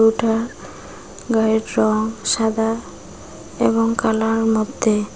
গরুটার গায়ের রং সাদা এবং কালার মধ্যে।